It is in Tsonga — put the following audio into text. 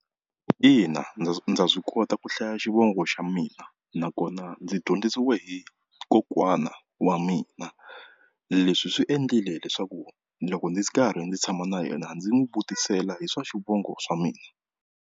Ina, ndza ndza swi kota ku hlaya xivongo xa mina nakona ndzi dyondzisiwe hi kokwana wa mina, leswi swi endlile leswaku loko ndzi ri karhi ndzi tshama na yena ndzi n'wi vutisela hi swa xivongo xa mina.